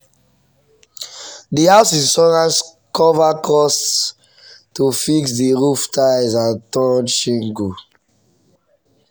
the house insurance cover cost to fix the roof tiles and torn shingle.